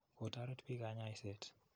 Ko toret piik kanyaiset.